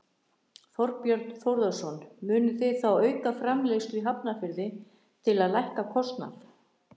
Þorbjörn Þórðarson: Munuð þið þá auka framleiðslu í Hafnarfirði til að lækka kostnað?